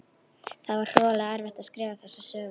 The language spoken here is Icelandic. Það var hroðalega erfitt að skrifa þessa sögu.